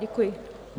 Děkuji.